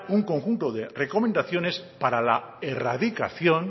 un conjunto de recomendaciones para la erradicación